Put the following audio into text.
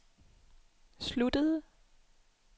sluttede